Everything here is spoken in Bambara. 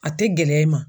A tɛ gɛlɛya i ma